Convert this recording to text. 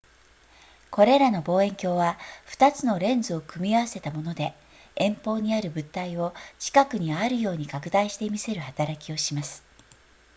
これらの望遠鏡は2つのレンズを組み合わせたもので遠方にある物体を近くにあるように拡大して見せる働きをします